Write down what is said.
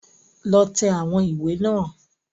Lọ tẹ̀ àwọn ìwé náà